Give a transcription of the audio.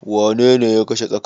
Wanene ya kashe tsakar?